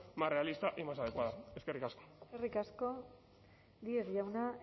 más realista y más adecuada eskerrik asko eskerrik asko díez jauna